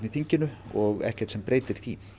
þinginu og ekkert sem breytir því